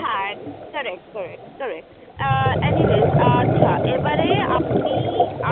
হ্যা Correct Correct anyway এবারে